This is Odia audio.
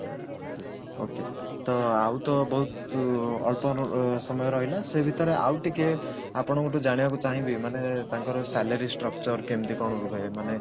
okay okay ତ ଆଉ ତ ବହୁତ ଅଳ୍ପ ସମୟ ରହିଲା ସେଇ ଭିତରେ ଆଉ ଟିକେ ଆପଣଙ୍କ ଠୁ ଜାଣିବାକୁ ଚାହିଁବି ମାନେ ତାଙ୍କର salary structure କେମତି କଣ ରୁହେ ମାନେ